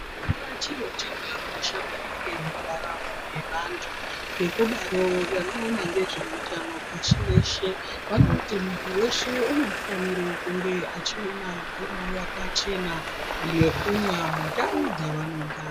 Hakuna chiro chakakosha maningi mundaramo yevantu ngekudaro vanoona ngezveutano pashi reshe vanoti muntu weshe unofanire kunge achiona mvura yakachena yekumwa mundau dzavanogara.